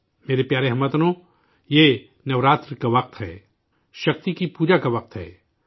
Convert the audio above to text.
میرے پیارے ہم وطنو، یہ نوراتر کا وقت ہے، شکتی کی اپاسنا کا وقت ہے